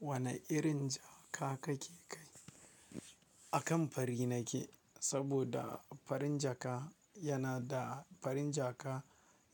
Wane irin jaka kake kai? Akan fari nake saboda farin jaka yana da, farin jaka